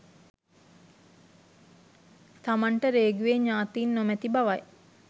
තමන්ට රේගුවේ ඥාතීන් නොමැති බවයි